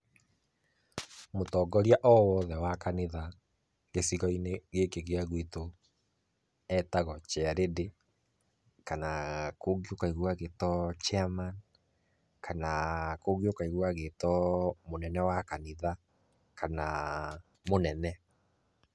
Mũtongoria o wothe wa kanitha gĩcigo-inĩ gĩkĩ gĩa gwitũ etagwo chairlady kana kũngĩ ũkaigua agĩtwo Chairman, kana kũngĩ ũkaigua agĩtwo mũnene wa kanitha kana mũnene.